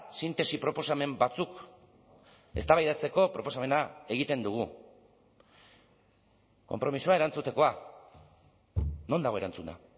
sintesi proposamen batzuk eztabaidatzeko proposamena egiten dugu konpromisoa erantzutekoa non dago erantzuna